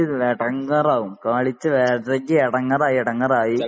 എടങ്ങാറാകും കളിച്ച് വെരകി എടങ്ങാറായി എടങ്ങാറായി